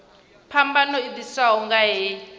phambano i ḓiswaho nga hei